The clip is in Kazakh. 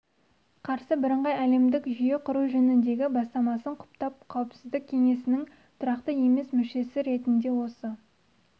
қарсы бірыңғай әлемдік жүйе құру жөніндегі бастамасын құптап қауіпсіздік кеңесінің тұрақты емес мүшесі ретінде осы